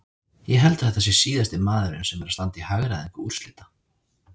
Ég held að þetta sé síðasti maðurinn sem er að standa í hagræðingu úrslita.